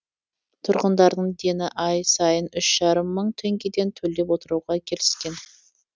тұрғындардың дені ай сайын үш жарым мың теңгеден төлеп отыруға келіскен